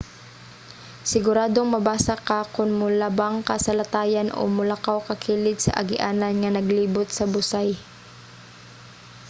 siguradong mabasa ka kon molabang ka sa latayan o molakaw ka kilid sa agianan nga naglibot sa busay